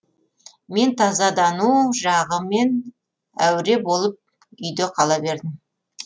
мен тазадану жағымен әуре болып үйде қала бердім